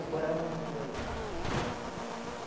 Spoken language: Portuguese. Agora amontoa isso.